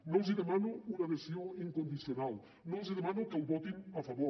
no els demano una adhesió incondicional no els demano que el votin a favor